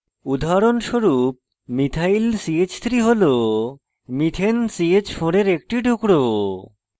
উদাহরণস্বরূপ: methyl ch3 হল methane ch4 for একটি টুকরো